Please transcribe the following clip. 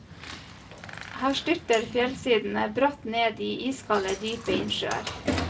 Her styrter fjellsidene bratt ned i iskalde, dype innsjøer.